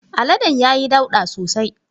Aladen ya yi ɗauda sosai.